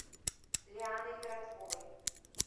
лианой коротковой